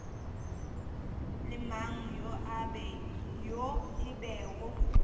le mang yo e bego